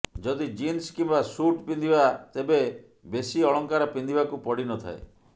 ଯଦି ଜିନ୍ସ କିମ୍ବା ସୁଟ୍ ପିନ୍ଧିବା ତେବେ ବେଶୀ ଅଳଙ୍କାର ପିନ୍ଧିବାକୁ ପଡିନଥାଏ